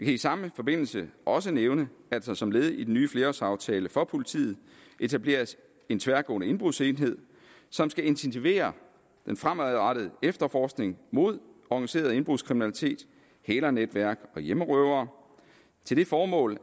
i samme forbindelse også nævne at der som led i den nye flerårsaftale for politiet etableres en tværgående indbrudsenhed som skal intensivere den fremadrettede efterforskning mod organiseret indbrudskriminalitet hælernetværk og hjemmerøvere til det formål